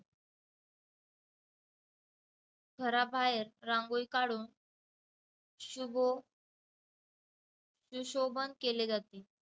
घराबाहेर रांगोळी काढून शुभो~ सुशोभण केले जाते.